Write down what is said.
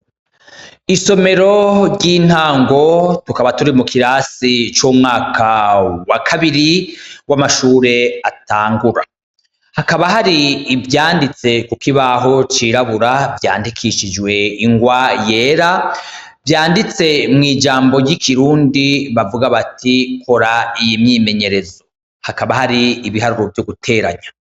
Isomero ry'intango tukaba turi mukirasi c'umwaka wakabiri w'amashure atangura, hakaba hari ivyanditse kukibaho cirabura, vyandikishijwe ingwa yera, vyanditse mw'ijmbo ry'ikirundi ,bavuga bati kora iyi myimenyerezo, hakaba hari ibiharuro vyo guteranya.